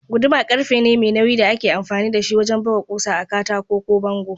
Guduma ƙarfe ne mai nauyi da ake amfani da shi wajan buga ƙusa a katako ko bango.